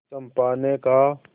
चंपा ने कहा